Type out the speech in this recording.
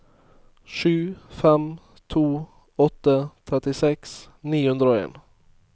sju fem to åtte trettiseks ni hundre og en